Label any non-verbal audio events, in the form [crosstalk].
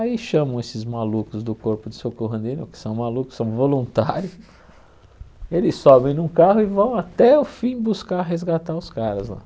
Aí chamam esses malucos do corpo de socorro, [unintelligible] que são malucos, são voluntários, eles sobem num carro e vão até o fim buscar resgatar os caras lá.